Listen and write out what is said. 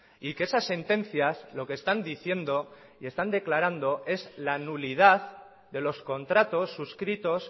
y que esas sentencias lo que están diciendo y están declarando es la nulidad de los contratos suscritos